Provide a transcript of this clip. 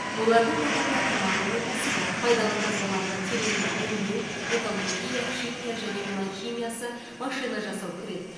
олардың қатарына тамақ өнеркәсібі пайдалы қазбаларды тереңінен өңдеу металлургия химия және мұнай химиясы машина жасау кіреді